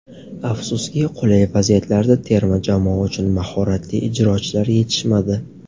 Afsuski, qulay vaziyatlarda terma jamoa uchun mahoratli ijrochilar yetishmadi.